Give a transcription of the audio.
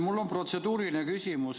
Mul on protseduuriline küsimus.